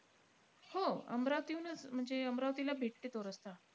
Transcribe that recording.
हो. अमरावतीहुनचं म्हणजे अमरावतीला भेटते तो रस्ता.